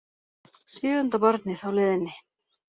Sjöunda barnið á leiðinni